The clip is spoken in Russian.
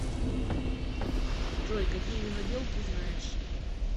джой какие винодел ты знаешь